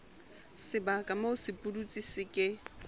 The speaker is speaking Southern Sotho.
sebaka moo sepudutsi se ke